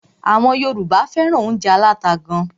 Àwọn Yorùbá fẹ́ràn óúnjẹ aláta gán.